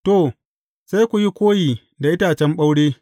To, sai ku yi koyi da itacen ɓaure.